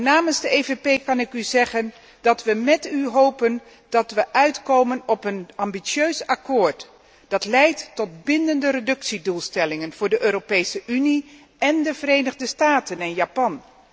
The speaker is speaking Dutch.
Namens de EVP Fractie kan ik u zeggen dat wij met u hopen dat wij uitkomen op een ambitieus akkoord, dat leidt tot bindende reductiedoelstellingen voor de Europese Unie, de Verenigde Staten en Japan.